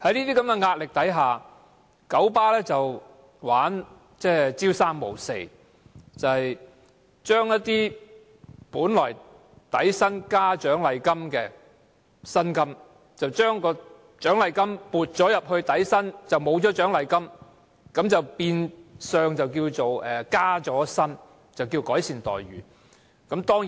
在社會壓力下，九巴玩弄伎倆，車長的薪金本是底薪加獎勵金，現把獎勵金撥入底薪，取消獎勵金，便稱為加薪，當作改善待遇。